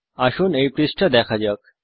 আসুন এই পৃষ্ঠা দেখা যাক